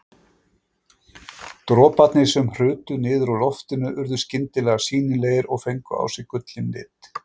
Droparnir sem hrutu niður úr loftinu urðu skyndilega sýnilegir og fengu á sig gullinn lit.